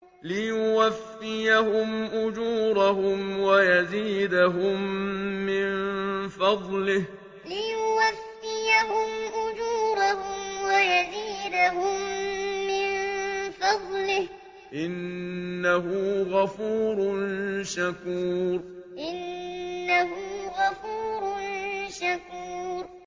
لِيُوَفِّيَهُمْ أُجُورَهُمْ وَيَزِيدَهُم مِّن فَضْلِهِ ۚ إِنَّهُ غَفُورٌ شَكُورٌ لِيُوَفِّيَهُمْ أُجُورَهُمْ وَيَزِيدَهُم مِّن فَضْلِهِ ۚ إِنَّهُ غَفُورٌ شَكُورٌ